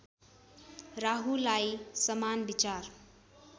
राहुलाई समान विचार